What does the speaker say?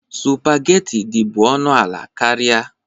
Sụpagheti dị bụ ọnụ ala karịa.